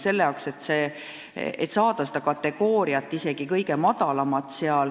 Selleks, et saada isegi kõige madalamat kategooriat, on vaja palju nõudeid täita.